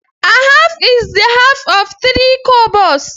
A half is the half of three kobos.